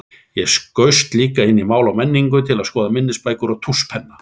Ég skaust líka inn í Mál og menningu til að skoða minnisbækur og tússpenna.